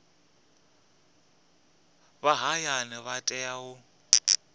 vha hayani vha tea u